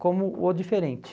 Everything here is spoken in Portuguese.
como o diferente.